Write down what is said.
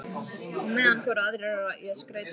Á meðan fóru aðrir í að skreyta kofann.